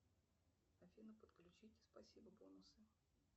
афина подключить спасибо бонусы